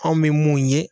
Anw bɛ mun ye